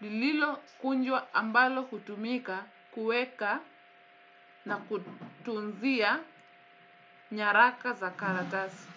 lililo kunjwa ambalo hutumika kuweka na kutunzia nyaraka za karatasi.